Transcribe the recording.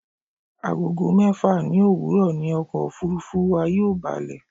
Agogo mẹ́fà ní òwúrọ̀ ni ọkọ̀ òfurufú wa yóò balẹ̀